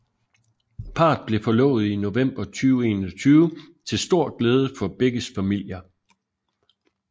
Parret blev forlovet i november 2021 til stor glæde for begges familier